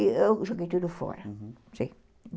E eu joguei tudo fora, uhum,